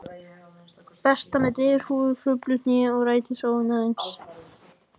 Berta með derhúfu og hrufluð hné- og rætins óvinarins